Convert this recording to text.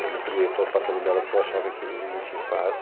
Eu não queria ir para o apartamento dela porque eu achava que não tinha espaço.